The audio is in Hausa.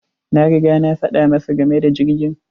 Na riga na faɗa masa game da jirgin.